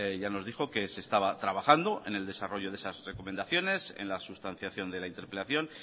ya nos dijo que se estaba trabajando en el desarrollo de esas recomendaciones en la sustanciación de la interpelación